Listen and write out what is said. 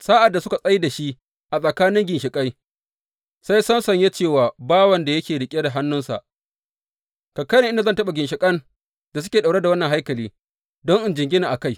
Sa’ad da suka tsai da shi a tsakanin ginshiƙai, sai Samson ya ce wa bawan da ya riƙe hannunsa, Ka kai ni inda zan taɓa ginshiƙan da suke ɗauke da wannan haikali, don in jingina a kai.